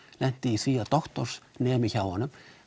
lenti í því að doktorsnemi hjá honum